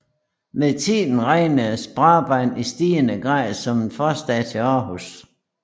Med tiden regnedes Brabrand i stigende grad som en forstad til Aarhus